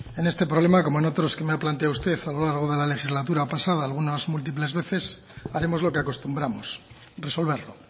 en este problema como en otros que me ha planteado usted a lo largo de la legislatura pasada algunas múltiples veces haremos lo que acostumbramos resolverlo